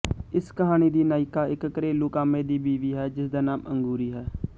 ਇਸ ਕਹਾਣੀ ਦੀ ਨਾਇਕਾ ਇੱਕ ਘਰੇਲੂ ਕਾਮੇ ਦੀ ਬੀਵੀ ਹੈ ਜਿਸਦਾ ਨਾਮ ਅੰਗੂਰੀ ਹੈ